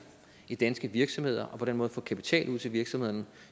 i danske virksomheder og på den måde få kapital ud til virksomhederne